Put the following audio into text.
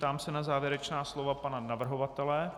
Ptám se na závěrečná slova pana navrhovatele.